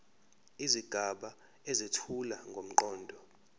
izigaba ezethula ngomqondo